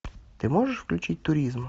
ты можешь включить туризм